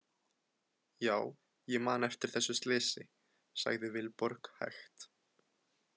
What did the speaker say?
Já, ég man eftir þessu slysi, sagði Vilborg hægt.